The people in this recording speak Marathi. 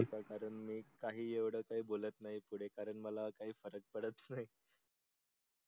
कारण मी काही येवड तर काही बोलत नाही पुडे कारण मला काही फरक पडत नाही.